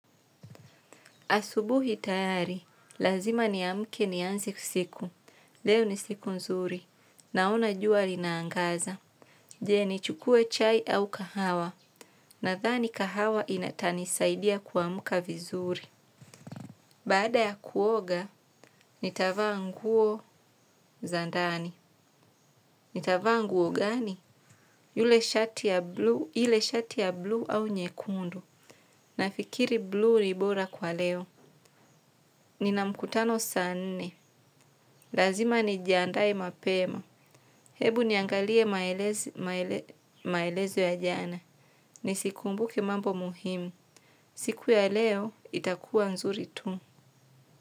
Asubuhi tayari, lazima niamke nianze siku. Leo ni siku nzuri, naona jua linaangaza. Je, nichukue chai au kahawa? Nadhani kahawa itanisaidia kuamka vizuri. Baada ya kuoga, nitavaa nguo za ndani. Nitavaa nguo gani? Ile shati ya bluu au nyekundu? Nafikiri 'Blue' ni bora kwa leo. Nina mkutano saa nne. Lazima nijiandae mapema. Hebu niangalie maelezo ya jana. Nizikumbuke mambo muhimu. Siku ya leo itakuwa nzuri tu.